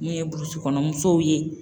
N'o ye burusikɔnɔ musow ye